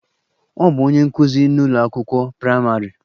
Ọ bụ onye nkụzi n'ụlọ akwụkwọ praịmarị.